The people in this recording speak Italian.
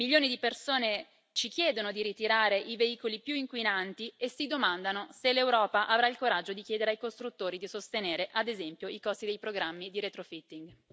Milioni di persone ci chiedono di ritirare i veicoli più inquinanti e si domandano se l'Europa avrà il coraggio di chiedere ai costruttori di sostenere, ad esempio, i costi dei programmi di retrofitting